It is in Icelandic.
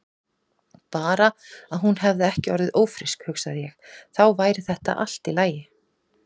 Bara að hún hefði ekki orðið ófrísk, hugsaði ég, þá væri þetta allt í lagi.